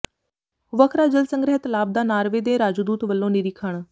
ਵਰਖਾ ਜਲ ਸੰਗ੍ਰਹਿ ਤਲਾਬ ਦਾ ਨਾਰਵੇ ਦੇ ਰਾਜਦੂਤ ਵਲੋਂ ਨਿਰੀਖਣ